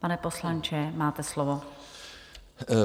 Pane poslanče, máte slovo.